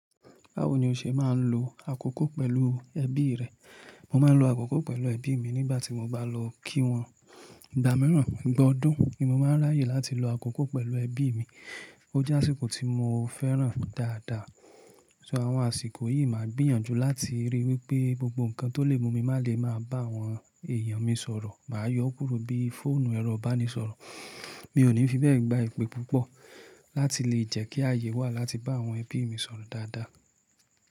Báwo ni o ṣe máa ń lo àkókò pẹ̀lú ẹbí rẹ? Mo máa ń lo àkókò pẹ̀lú ẹbí mi nígbà tí mo bá lọ kí wọn. Ìgbà mìíràn, ìgba ọdun ni mo máa ń ráyè láti lo àkókò pẹ̀lú ẹbí mi. Ó jásíkó tí mo fẹ́ràn dáadáa. So àwọn àsìkò yìí máa gbìyànjú láti ríi wípé gbogbo nǹkan tó lè mú mi má le máa bá àwọn èèyàn mi sọ̀rọ̀. Màá yọ ọ́ kúrò bí fóònù ẹrọ ìbánisọ̀rọ̀. Mi ò ní fi bẹ́ẹ̀ gba ìpè púpọ̀ láti lè jẹ́ kí ààyè wà láti bá àwọn ẹbí mi sọ̀rọ̀ dáadáa.